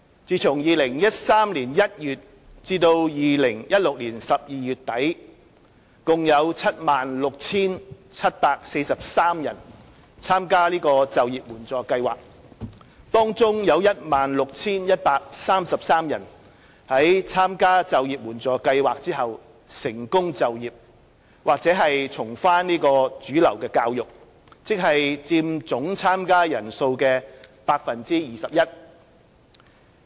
自2013年1月至2016年12月底，共有 76,743 人參加就業援助計劃，當中 16,133 人在參加就業援助計劃後成功就業或重返主流教育，即佔總參加人數的 21%。